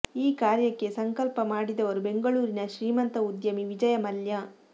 ಈ ಕಾರ್ಯಕ್ಕೆ ಸಂಕಲ್ಪ ಮಾಡಿದವರು ಬೆಂಗಳೂರಿನ ಶ್ರೀಮಂತ ಉದ್ಯಮಿ ವಿಜಯ ಮಲ್ಯ